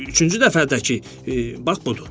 Üçüncü dəfə də ki, bax budur.